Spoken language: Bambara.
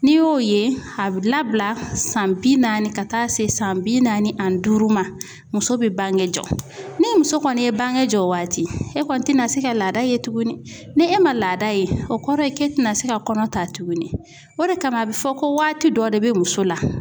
N'i y'o ye a bɛ labila san bi naani ka taa se san bi naani ani duuru ma muso be bange jɔ. Ni muso kɔni ye bange jɔ o waati e kɔni tɛ na se ka laada ye tuguni. Ni e ma laada ye o kɔrɔ ye k'e ti na se ka kɔnɔ ta tuguni. O de kama a bɛ fɔ ko waati dɔ de be muso la